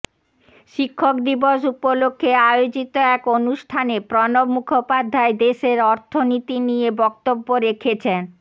শিক্ষক দিবস উপলক্ষ্যে আয়োজিত এক অনুষ্ঠানে প্রণব মুখোপাধ্যায় দেশের অর্থনীতি নিয়ে বক্তব্য রেখেছন